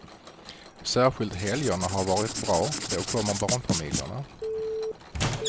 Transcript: Särskilt helgerna har varit bra, då kommer barnfamiljerna.